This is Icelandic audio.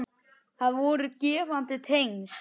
Það voru gefandi tengsl.